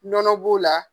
Nɔnɔ b'o la